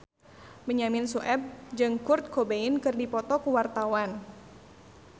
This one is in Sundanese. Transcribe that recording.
Benyamin Sueb jeung Kurt Cobain keur dipoto ku wartawan